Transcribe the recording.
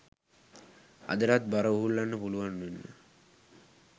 අදටත් බර උහුලන්න පුළුවන් වෙන්න